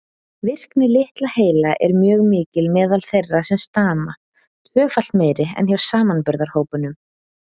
Virkni litla heila er mjög mikil meðal þeirra sem stama, tvöfalt meiri en hjá samanburðarhópnum.